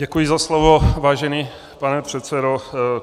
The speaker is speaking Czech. Děkuji za slovo, vážený pane předsedo.